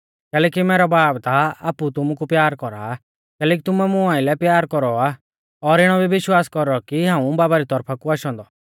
कैलैकि मैरौ बाब ता आपु तुमु कु प्यार कौरा कैलैकि तुमुऐ मुं आइलै प्यार कौरौ आ और इणौ भी विश्वास कौरौ कि हाऊं बाबा री तौरफा कु आशौ औन्दौ